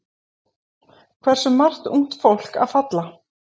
Hversu margt ungt fólk að falla?